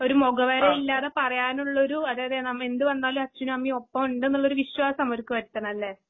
ഒരുമുഖവേളയില്ലാതെപറയാനുള്ളൊരു അതേയതേനമ്മെ എന്തുവന്നാലുഅച്ഛനുഅമ്മയുംഒപ്പഒണ്ടെന്നുള്ളൊരുവിശ്വാസംഅവർക്കുവരുത്തണല്ലേ??